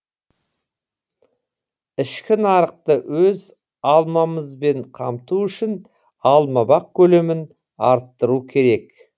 ішкі нарықты өз алмамызбен қамту үшін алмабақ көлемін арттыру қажет